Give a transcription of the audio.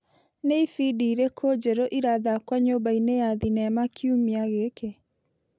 Nĩ ibindi irĩkũ njerũ irathakwo nyũmba-inĩ ya thinema kiumia gĩkĩ.